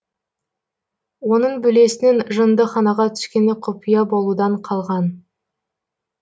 оның бөлесінің жындыханаға түскені құпия болудан қалған